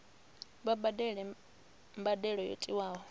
vha badele mbadelo yo tiwaho